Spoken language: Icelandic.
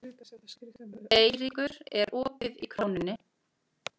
Eyríkur, er opið í Krónunni?